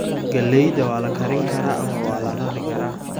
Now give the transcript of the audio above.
Galleyda waa la karin karaa ama waa la rari karaa.